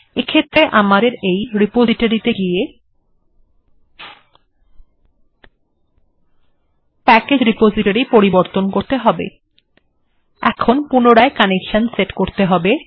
এক্ষেত্রে আমাদের এই রেপোসিটোরি তে গিয়ে প্যাকেজ্ রেপোসিটোরি পরিবর্তন করতে হবে এখন পুনরায় কনেকসান সেট করতে হবে